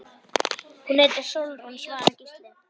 Hún heitir Sólrún, svaraði Gísli.